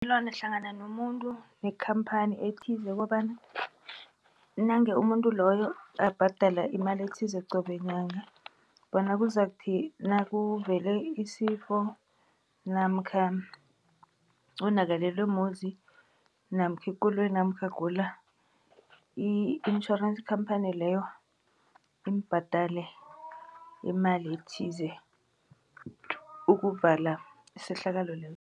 hlangana nomuntu nekhamphani ethize kobana nange umuntu loyo abhadela imali ethize qobe nyanga bona kuzakuthi nakuvele isifo, namkha wonakalelwe muzi, namkha ikoloyi, namkha agula, i-insurance campany leyo imbhadale imali ethize ukuvala isehlakalo